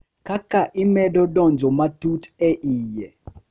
Kaka imedo donjo matut e iye,